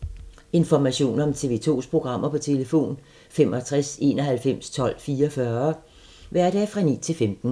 Information om TV 2's programmer: 65 91 12 44, hverdage 9-15.